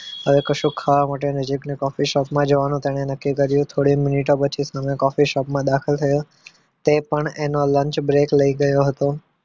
હવે કશું ક ખાવા માટે નજીકની coffee shop માં જવાનું તેણે નક્કી કર્યું હતું થોડી મિનિટો પછી અમે coffee shop માં દાખલ થયા તે પણ એનો lunch break લઈ રહ્યો હતો